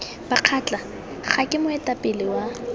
bakgatla kgr ke moetapele wa